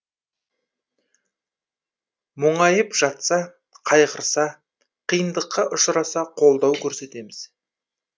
мұңайып жатса қайғырса қиындыққа ұшыраса қолдау көрсетеміз